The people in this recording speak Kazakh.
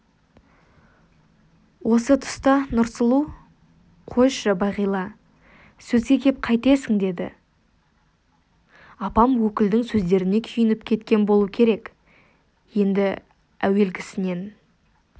осы тұста нұрсұлу қойшы бағила сөзге кеп қайтесің деді апам өкілдің сөздеріне күйініп кеткен болу керек енді әуелгісінен